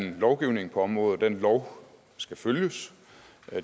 en lovgivning på området og den lov skal følges